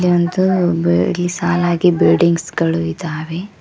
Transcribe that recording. ಒಂದು ಸಾಲಾಗಿ ಬಿಲ್ಡಿಂಗ್ಸ್ ಗಳು ಇದ್ದಾವೆ.